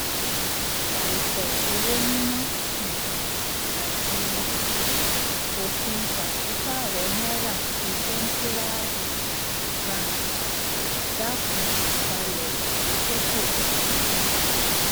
àìpọ owó níná um àti um òfin pàsípààrọ náírà ti sẹtírá um baǹkì dákún ìfalẹ ìgbésókè gdp